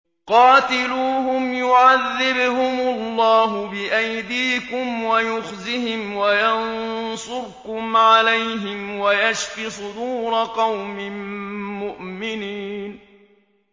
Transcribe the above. قَاتِلُوهُمْ يُعَذِّبْهُمُ اللَّهُ بِأَيْدِيكُمْ وَيُخْزِهِمْ وَيَنصُرْكُمْ عَلَيْهِمْ وَيَشْفِ صُدُورَ قَوْمٍ مُّؤْمِنِينَ